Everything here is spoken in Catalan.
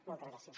moltes gràcies